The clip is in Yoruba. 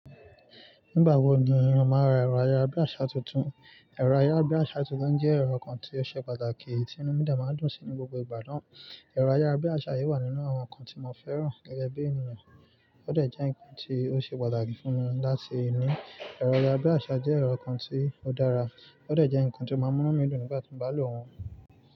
Nígbà wo ni ìran máa ra ẹ̀rọ ayára bí àsá tuntun? Ẹ̀rọ ayára bí àsá tuntun jẹ́ ẹ̀rọ kan tí ó ṣe pàtàkì tí inú mí demá dùn sí ní gbogbo ìgbà náà. Ẹ̀rọ ayára bí àsá yìí wà nínú àwọn nǹkan tí mo fẹ́ràn gẹ́gẹ́ bí ènìyàn. Ó dẹ̀ jẹ́ nǹkan tí ó ṣe pàtàkì fún mi láti inú. Ẹ̀rọ ayára bí àsá jẹ́ ẹ̀rọ kan tí ó dára, ó dẹ̀ jẹ́ nǹkan tí ó máa ń munú mí dùn nígbà tí mo bá lò wọ́n.